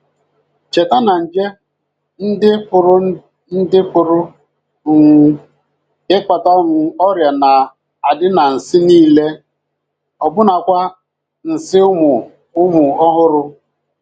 Cheta na nje ndị pụrụ ndị pụrụ um ịkpata um ọrịa na - adị nansị nile, ọbụnakwa nsị ụmụ um ọhụrụ.